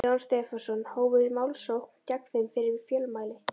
Jóhann Stefánsson, hófu málsókn gegn þeim fyrir fjölmæli.